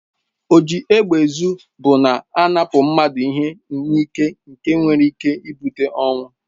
Oji égbè ezụ bụ na-anapụ mmadụ ihe n'ịke nke nwere ịke ịbute ọnwụ.